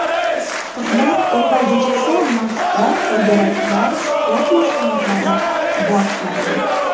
Qizlar ulg‘aygach esa, maktab, to‘garaklar, sport mashg‘ulotlari boshlandi.